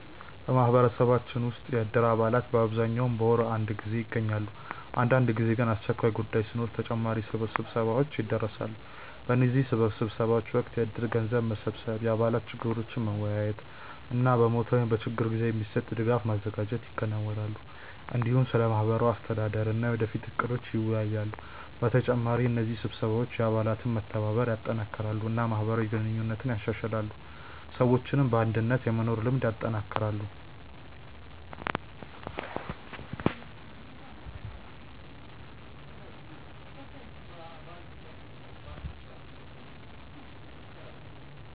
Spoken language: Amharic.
በማህበረሰባችን ውስጥ የእድር አባላት በአብዛኛው በወር አንድ ጊዜ ይገናኛሉ። አንዳንድ ጊዜ ግን አስቸኳይ ጉዳይ ሲኖር ተጨማሪ ስብሰባዎች ይደርሳሉ። በእነዚህ ስብሰባዎች ወቅት የእድር ገንዘብ መሰብሰብ፣ የአባላት ችግሮችን መወያየት እና በሞት ወይም በችግር ጊዜ የሚሰጥ ድጋፍ ማዘጋጀት ይከናወናል። እንዲሁም ስለ ማህበሩ አስተዳደር እና የወደፊት እቅዶች ይወያያሉ። በተጨማሪ እነዚህ ስብሰባዎች የአባላት መተባበርን ያጠናክራሉ እና ማህበራዊ ግንኙነትን ያሻሽላሉ፣ ሰዎችም በአንድነት የመኖር ልምድ ያጠናክራሉ።